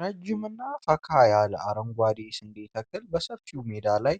ረዥምና ፈካ ያለ አረንጓዴ ስንዴ ተክል በሰፊ ሜዳ ላይ